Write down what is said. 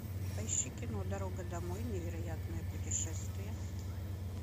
поищи кино дорога домой невероятное путешествие